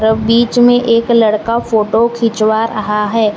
और बीच में एक लड़का फोटो खिंचवा रहा है।